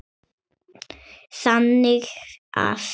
þannig að